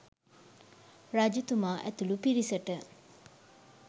රජතුමා ඇතුළු පිරිසට